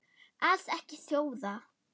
Alls ekki sjóða.